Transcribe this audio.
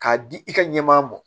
K'a di i ka ɲɛmaa ma